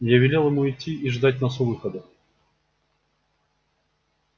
я велел ему идти и ждать нас у выхода